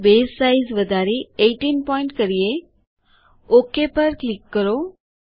ચાલો બસે સાઇઝ વધારી 18 પોઇન્ટ કરીએOk પર ક્લિક કરો